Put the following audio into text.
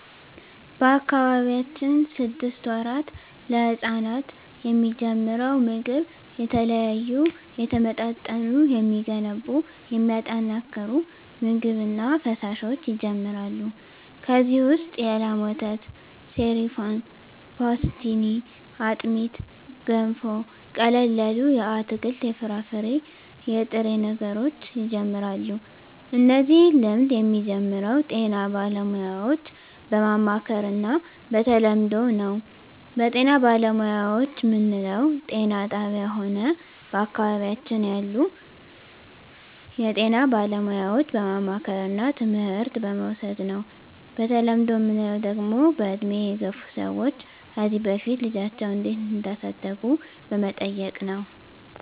በአካባቢያችን ስድስት ወራት ለህጻናት የሚጀምረው ምግብ የተለያዩ የተመጣጠኑ የሚገነቡ የሚያጠናክሩ ምግብ እና ፈሣሾች ይጀመራሉ ከዚ ውሰጥ የላም ወተት ሰሪፋን ፓሥትኒ አጥሜት ገንፎ ቀለል ያሉ የአትክልት የፍራፍሬ የጥሬ ነገሮች ይጀምራሉ እነዚህ ልምድ የሚጀምረው ጤና ባለሙያዎች በማማከር እና በተለምዶው ነው በጤና ባለሙያዎች ምንለው ጤና ጣብያ ሆነ በአካባቢያችን ያሉ የጤና ባለሙያዎች በማማከርና ትምህርት በመዉሰድ ነው በተለምዶ ምንለው ደግሞ በእድሜ የገፍ ሰዎች ከዚ በፊት ልጃቸው እንዴት እዳሳደጉ በመጠየቅ ነው